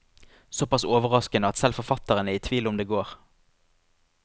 Såpass overraskende at selv forfatteren er i tvil om det går.